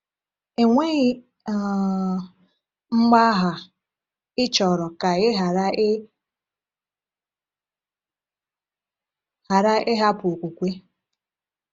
Enweghị um mgbagha, ị chọrọ ka ị ghara ị ghara ịhapụ okwukwe.